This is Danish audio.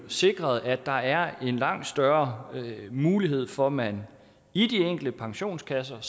sikret at der er en langt større mulighed for at man i de enkelte pensionskasser